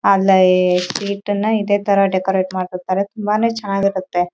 ಅಲ್ಲಿ ಶೀಟನ್ನ ಇದೇ ತರ ಡೆಕೋರೇಟ್‌ ಮಾಡ್ತಾರೆ ತುಂಬಾನೆ ಚೆನ್ನಾಗಿರುತ್ತೆ.